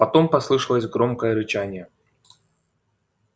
потом послышалось громкое рычание